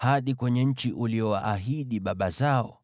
hadi kwenye nchi uliyowaahidi baba zao?